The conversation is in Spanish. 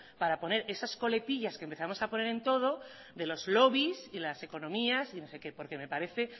para poner esas coletillas que empezamos a poner en todo de los lobbies y las economías y no sé que porque me parece